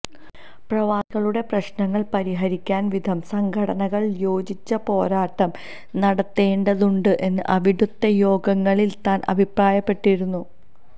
പ്രവാസികളുടെ പ്രശ്നങ്ങള് പരിഹരിക്കാന് വിവിധ സംഘടനകള് യോജിച്ച പോരാട്ടം നടത്തേണ്ടതുണ്ട് എന്ന് അവിടുത്തെ യോഗങ്ങളില് താന് അഭിപ്രായപ്പെട്ടിരുന്നു